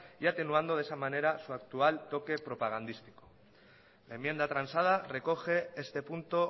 y atenuando de esa manera su actual toque propagandístico la enmienda transada recoge este punto